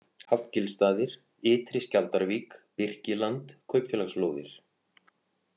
Hallgilsstaðir, Ytri Skjaldarvík, Birkiland, Kaupfélagslóðir